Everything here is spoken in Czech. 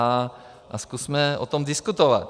A zkusme o tom diskutovat.